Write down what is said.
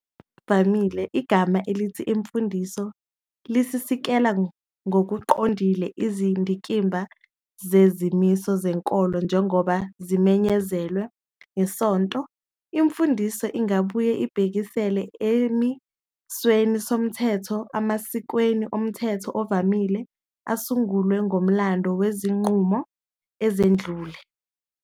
Ngokuvamile igama elithi "imfundiso" lisikisela ngokuqondile izindikimba zezimiso zenkolo njengoba zimenyezelwe yisonto. I"mfundiso" ingabuye ibhekisele esimisweni somthetho, emasikweni omthetho ovamile, asungulwe ngomlando wezinqumo ezedlule.